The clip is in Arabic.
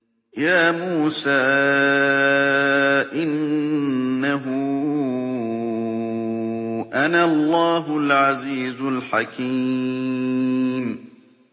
يَا مُوسَىٰ إِنَّهُ أَنَا اللَّهُ الْعَزِيزُ الْحَكِيمُ